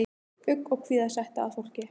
Ugg og kvíða setti að fólki.